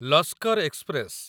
Lashkar express